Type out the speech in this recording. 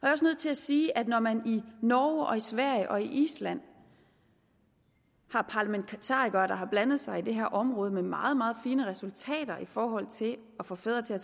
er også nødt til at sige at når man i norge og sverige og island har parlamentarikere der har blandet sig i det her område med meget meget fine resultater i forhold til at få fædre til at